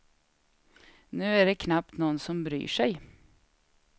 Nu är det knappt någon som bryr sig.